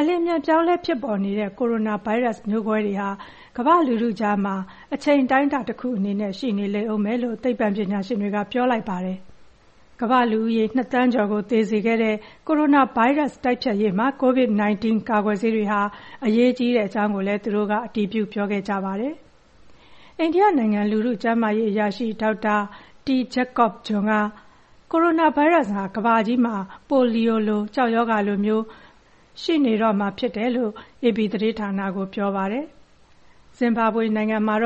အလျင်အမြန်ပြောင်းလဲဖြစ်ပေါ်နေတဲ့ ကိုရိုနာဗိုင်းရပ်စ်ဟာ ကမ္ဘာ့လူထုကြားမှာ တချိန်အတိုင်းတာတခုအနေနဲ့ ရှိနေလိမ့်အုံးမယ်လို့ သိပ္ပံပညာရှင်တွေက ပြောလိုက်ပါတယ်။ ကမ္ဘာ့လူဦးရေ ၂,၀၀၀,၀၀၀ ကျော်ကို သေစေခဲ့တဲ့ ကိုရိုနာဗိုင်းရပ်စ်တိုက်ဖျက်ရေးမှာ ကိုဗစ်-၁၉ ကာကွယ်ဆေးတွေဟာ အရေးကြီးကြောင်းကိုလည်း သူတို့က အတည်ပြုပြောခဲ့ကြတာပါ။ အိန္ဒိယနိုင်ငံ လူထုကျန်းမာရေးအရာရှိ ဒေါက်တာ T. Jacob John က ကိုရိုနာဗိုင်းရပ်စ်ဟာ ကမ္ဘာကြီးမှာ ပိုလီယိုလို၊ ကျောက်ရောဂါလိုမျိုး ဒီ ဗိုင်းရပ်စ်ကတော့ ရှိနေတော့မှာဖြစ်တယ်လို့ အေပီသတင်းဌာနကို ပြောပါတယ်။ ဇင်ဘာဘွေနိုင်ငံဟာ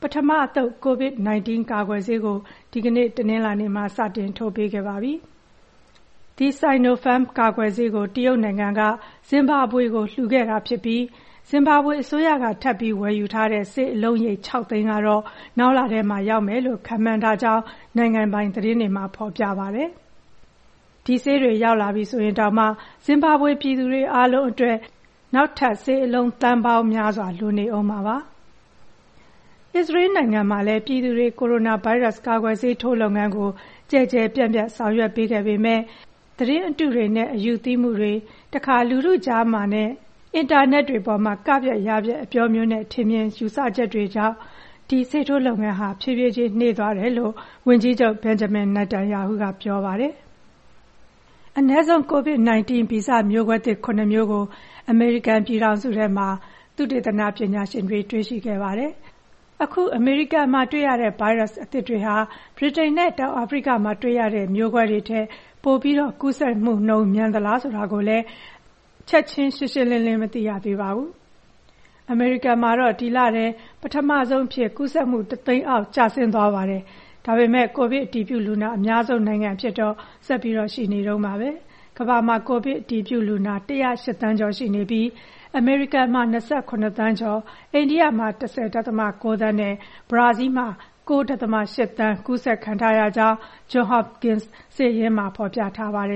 ပထမအသုတ် ကိုဗစ်-၁၉ ကာကွယ်ဆေးကို အခု တနင်္လာနေ့မှာ စတင်ထိုးပေးခဲ့ပါပြီ။ The Sinopharm ကာကွယ်ဆေးကို တရုတ်နိုင်ငံက ဇင်ဘာဘွေကို လှူခဲ့တာဖြစ်ပြီး အစိုးရက ထပ်ပြီးဝယ်ယူထားတဲ့ ဆေးအလုံးရေ ၆၀၀,၀၀၀ ကတော့ နောက်လထဲမှာ ရောက်မယ်လို့ ခန့်မှန်းကြောင်း နိုင်ငံပိုင်သတင်းမှာ ဖော်ပြပါတယ်။ ဒီဆေးတွေ ရောက်လာပြီဆိုရင်တောင်မှာ ဇင်ဘာဘွေပြည်သူတွေအားလုံး အတွက်ဆိုရင် နောက်ထပ် ဆေးအလုံး သန်းပေါင်းများစွာ လိုနေတာပါ။ အစ္စရေးနိုင်ငံမှာလည်း ပြည်သူတွေ ကိုရိုနာဗိုင်းရပ်စ် ကာကွယ်ဆေးထိုးလုပ်ငန်းကို ကျယ်ကျယ်ပြန့်ပြန့်ဆောင်ရွက်ပေးခဲ့ပေမဲ့ အခု သတင်းအတုတွေနဲ့ အယူသီးမှုတွေ၊ နောက် တခါတရံမှာ လူထုကြားမှာနဲ့အင်တာနက်တွေအပေါ်မှာ က-ဖျက်၊ ယ-ဖျက် အပြောမျိုးနဲ့ ထင်မြင်ချက်တွေကြောင့် ဒီဆေးထိုးလုပ်ငန်းဟာ ဖြည်းဖြည်းချင်းနှေးသွားကြောင်း - ဝန်ကြီးချုပ် ဘန်ဂျမင် နာတန်ရာဟုက ပြောပါတယ်။ သုတေသနပညာရှင်တွေဟာ အနည်းဆုံး ကိုဗစ်-၁၉ ဗီဇမျိုးကွဲသစ် ၇ မျိုးကို အမေရိကန်ပြည်ထောင်စုထဲမှာ တွေ့ရှိခဲ့ပါတယ်။ ဒါဟာ အမေရိကန်မှာတွေ့ရတဲ့ ဗိုင်းရပ်စ်အသစ်တွေဟာ ဗြိတိန်နဲ့ တောင်အာဖရိကမှာတွေ့ရတဲ့ မျိုးကွဲတွေထက် ပိုပြီး ကူးစက်နှုန်းမြန်သလား ဆိုတာကိုလည်း ချက်ခြင်း ကွဲကွဲပြားပြား မသိရသေးပါဘူး။ အမေရိကန်မှာတော့ ဒီလထဲ ပထမဆုံးအဖြစ် ကူးစက်မှု ၁၀၀,၀၀၀ အောက်ကျဆင်းသွားပါတယ်။ ဒါပေမဲ့ ကိုဗစ်အတည်ပြုလူနာအများဆုံး နိုင်ငံအဖြစ်တော့ ဆက်ပြီးရှိနေတုန်းပါပဲ။ ကမ္ဘာမှာ ကိုဗစ် အတည်ပြုလူနာ ၁၀၈ သန်းကျော်ရှိပြီး အမေရိကန်က ၂၇ သန်းကျော်၊ အိန္ဒိယမှာ ၁၀.၉ သန်းနဲ့ ဘရာဇီးလ်မှာက ၉.၈ သန်း ကူးစက်ခံထားရကြောင်း ဂျွန်ဟော့ပ်ကင်စ် စာရင်းမှာ ဖော်ပြထားပါတယ်